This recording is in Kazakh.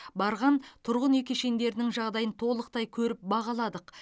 барған тұрғын үй кешендерінің жағдайын толықтай көріп бағаладық